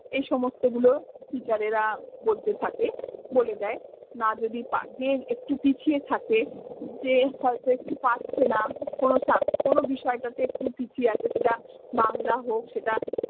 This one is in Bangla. এই সমস্ত গুলো teacher এরা বলতে থাকে, বলে দেয়। না যদি পা~ যে একটু পিছিয়ে থাকে যে হয়তো একটু পারছে না, কোনো sub কোনো বিষয়টাতে একটু পিছিয়ে আছে সেটা বাংলা হোক সেটা